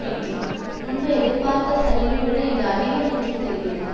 என்றும் முன்பு எதிர்பார்த்த சரிவை விட இது அதிகம் என்றும் தெரிகிறது